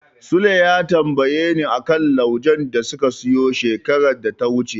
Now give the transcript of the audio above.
Sule ya tambayeni a kan laujen da suka siyo shekarar da ta wuce.